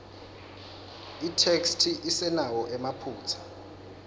itheksthi isenawo emaphutsa